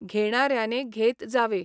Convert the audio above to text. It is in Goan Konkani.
घेणाऱ्याने घेत जावे